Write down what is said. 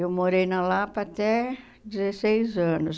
Eu morei na Lapa até dezesseis anos.